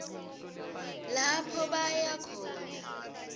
lapho baya khona